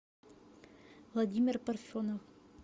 владимир парфенов